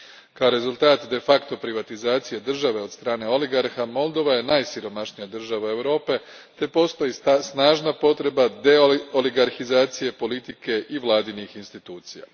Kao rezultat de facto privatizacije države od strane oligarha, Moldova je najsiromašnija država Europe te postoji snažna potreba deoligarhizacije politike i vladinih institucija.